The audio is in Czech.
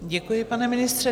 Děkuji, pane ministře.